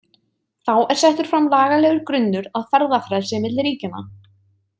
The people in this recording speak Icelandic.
Þá er settur fram lagalegur grunnur að ferðafrelsi milli ríkjanna.